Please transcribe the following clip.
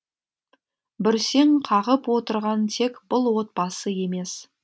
бүрсең қағып отырған тек бұл отбасы емес